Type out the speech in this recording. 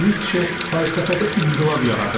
Nitşe fəlsəfədə inqilab yaradırdı.